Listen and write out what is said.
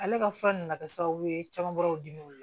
Ale ka fura nana kɛ sababu ye caman bɔr'u dimi o le la